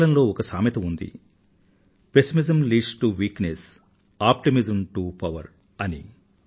ఆంగ్లం లో ఒక సామెత ఉంది pessimism leads to weakness optimism to power అని